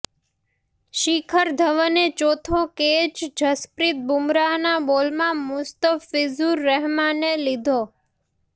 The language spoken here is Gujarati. શિખર ધવને ચોથો કેચ જસપ્રીત બુમરાહનાં બોલમાં મુસ્તફિઝુર રહેમાને લીધો